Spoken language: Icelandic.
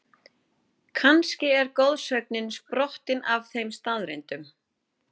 Kannski er goðsögnin sprottin af þeim staðreyndum?